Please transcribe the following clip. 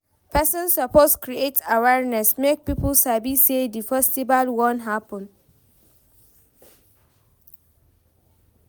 Persin suppose create awareness make pipo sabi say di festival won happen